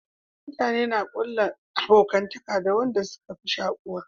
Mutane na kulla abokantaka da wanda suka fi shakuwa